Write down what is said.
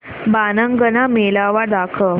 बाणगंगा मेळावा दाखव